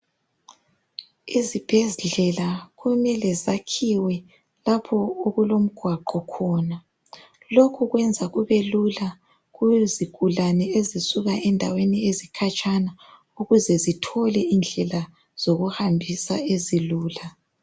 Izibhedlela kumele zakhiwe lapho okulomgwaqo khona, lokhu kwenza kube lula kuzigulane ezisuka endaweni ezikhatshana ukuze zithole indlela zokuhambisa ezilula.